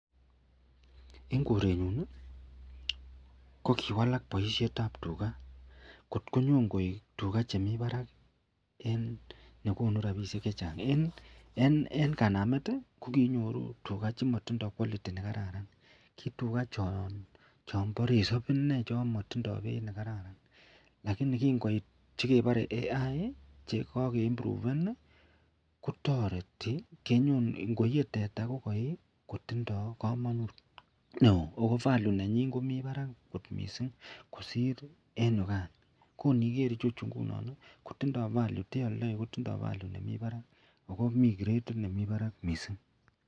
En korenyun kokiwalak baishet ab tuga kotkoig tuga chemi Barak en nekonu rabinik chechang en kanamet konkikinyoru tuga chetindo quality nekararan kituga chon MBA resob inei chamatindoi Beit nekararan lakini kingoet kibare AI Che kake imtuven kotareti angoiye teta kokayi kotindo kamanut neo ako (value)nanyin komiten Barak kot mising kosir en yugan koniger ichechu igeg kotinye value mising